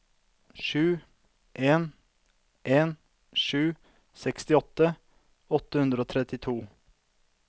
sju en en sju sekstiåtte åtte hundre og trettito